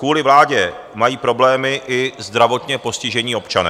Kvůli vládě mají problémy i zdravotně postižení občané.